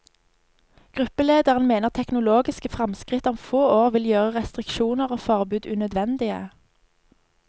Gruppelederen mener teknologiske fremskritt om få år vil gjøre restriksjoner og forbud unødvendige.